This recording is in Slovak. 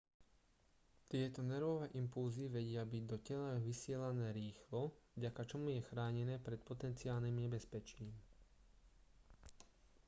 tieto nervové impulzy vedia byť do tela vysielané rýchlo vďaka čomu je chránené pred potenciálnym nebezpečím